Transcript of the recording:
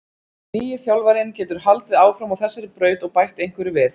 Nýi þjálfarinn getur haldið áfram á þessari braut og bætt einhverju við.